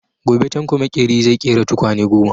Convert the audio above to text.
Gobe Tanko makeri zai ƙera tukwane goma.